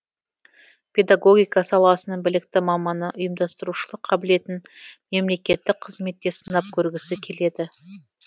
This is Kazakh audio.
педагогика саласының білікті маманы ұйымдастырушылық қабілетін мемлекеттік қызметте сынап көргісі келеді